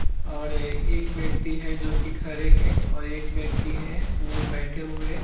और एक व्यक्ति हैं जो की खड़े हैं और एक व्यक्ति हैं वो बैठे हैं।